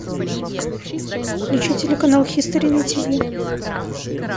включи телеканал хистори на тиви